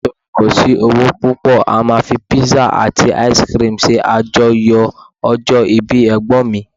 nitori kò sí owó púpò, a ma fi pizza ati ice cream se ajoyọ ọjọ ibi egbon mi